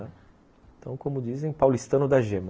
Então, como dizem, paulistano da gema.